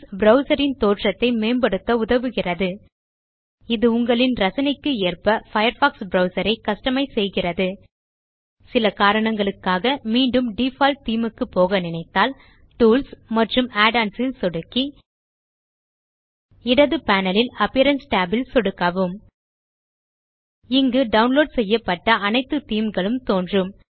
browser ன் தோற்றத்தை மேம்படுத்த உதவுகிறது இது உங்களின் ரசனைக்கு ஏற்ப பயர்ஃபாக்ஸ் ப்ரவ்சர் ஐ கஸ்டமைஸ் செய்கிறது சில காரணங்களுக்காக மீண்டும் டிஃபால்ட் தேமே க்கு போக நினைத்தால் டூல்ஸ் மற்றும் add ஒன்ஸ் ல் சொடுக்கி இடது பேனல் ல்Appearance tab ல் சொடுக்கவும் இங்கு டவுன்லோட் செய்யப்பட்ட அனைத்து தேமே களும் தோன்றும்